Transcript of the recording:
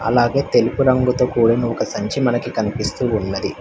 అలాగే తెలుపు రంగుతో కూడిన ఒక సంచి మనకు కనిపిస్తూ ఉన్నది.